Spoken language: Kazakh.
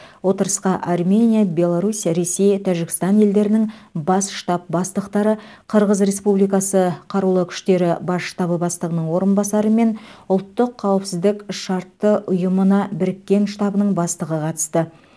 отырысқа армения беларусь ресей тәжікстан елдерінің бас штаб бастықтары қырғыз республикасы қарулы күштері бас штабы бастығының орынбасары мен ұлттық қауіпсіздік шартты ұйымына біріккен штабының бастығы қатысты